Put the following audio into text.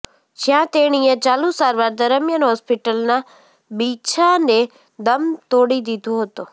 જ્યાં તેણીએ ચાલુ સારવાર દરમ્યાન હોસ્પીટલના બીછાને દમ તોડી દીધો હતો